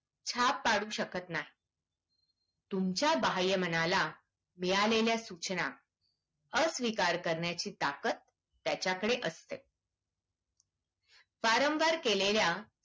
छाप पडू शकत नाही तुमच्या बाह्य मनाला मिळालेल्या सूचना अस्वीकार करण्याची ताकत त्याच्याकडे असते बारामबार केलेल्या